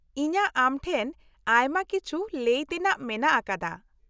ᱤᱧᱟ.ᱜ ᱟᱢᱴᱷᱮᱱ ᱟᱭᱢᱟ ᱠᱤᱪᱷᱤ ᱞᱟ.ᱭ ᱛᱮᱱᱟᱜ ᱢᱮᱱᱟᱜ ᱟᱠᱟᱫᱟ ᱾